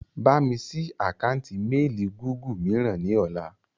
Bámi sì àkántì "Mééli Gúgù" mìíràn ni ọ̀la.